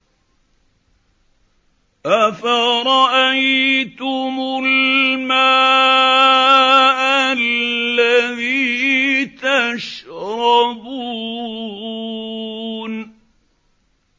أَفَرَأَيْتُمُ الْمَاءَ الَّذِي تَشْرَبُونَ